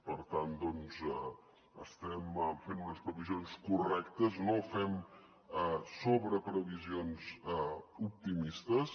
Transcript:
per tant doncs estem fent unes previsions correctes no fem sobreprevisions optimistes